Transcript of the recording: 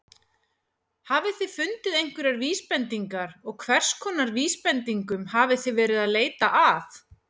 Hafið þið fundið einhverjar vísbendingar og hverskonar vísbendingum hafið þið verið að leita að?